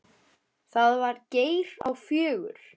Það var Geir á fjögur.